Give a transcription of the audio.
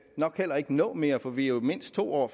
nok heller ikke nå mere for vi er jo mindst to år